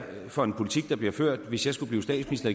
for en politik der ville blive ført hvis jeg skulle blive statsminister